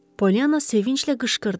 Poliana sevinclə qışqırdı: